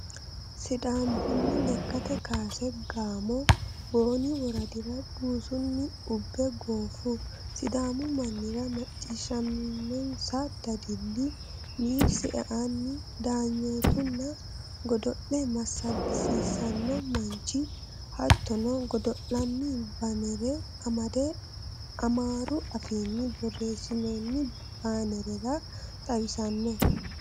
Sidaamu buni lekkate kaase gaamo booni woradira buusunni ubbe gooffu sidaamu mannira macciishshaminonsa dadille needs eanni daanyoottunna godo'le massagisiisanno manchi hattono godo'laano baanere amadde amaaru afiinni borreessinoonni baanerara xawisanno.